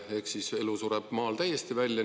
Ehk siis elu sureb maal täiesti välja.